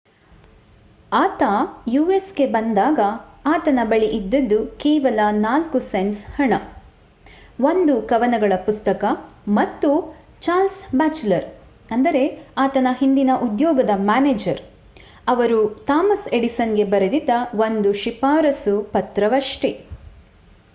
ಆತ ಯುಸ್‌ಗೆ ಬಂದಾಗ ಆತನ ಬಳಿ ಇದ್ದದ್ದು ಕೇವಲ 4 ಸೆಂಟ್ಸ್ ಹಣ ಒಂದು ಕವನಗಳ ಪುಸ್ತಕ ಮತ್ತು ಚಾರ್ಲ್ಸ್ ಬ್ಯಾಚುಲರ್ ಆತನ ಹಿಂದಿನ ಉದ್ಯೋಗದ ಮ್ಯಾನೇಜರ್ ಅವರು ಥಾಮಸ್ ಎಡಿಸನ್‌ಗೆ ಬರೆದಿದ್ದ ಒಂದು ಶಿಫಾರಸ್ಸು ಪತ್ರವಷ್ಟೇ